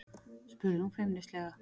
spurði hún feimnislega.